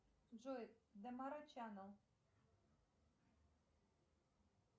джой домара чанел